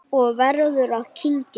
Og verður að kyngja.